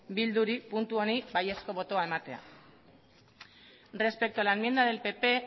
bilduri puntu honi baiezko botoa ematea respecto a la enmienda del pp